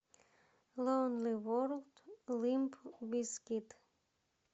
лонли ворлд лимп бизкит